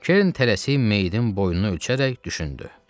Kerrin tələsib meyidin boyunu ölçərək düşündü.